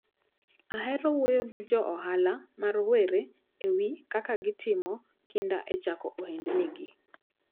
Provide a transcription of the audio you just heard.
Ahero wuoyo gi joohala ma rowere ewi kaka gitimo kinda e chako ohendnigi.